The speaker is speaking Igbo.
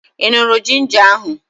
Ị ṅụrụ ginja ahụ?